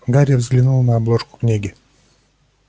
гарри взглянул на обложку книги